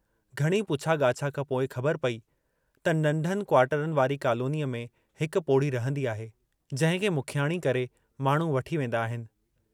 घणी पुछा ॻाछा खां पोइ खबर पई त नंढनि क्वार्टरनि वारी कॉलोनीअ में हिक पोढ़ी रहंदी आहे जंहिंखे मुखियाणी करे माण्हू वठी वेंदा आहिनि।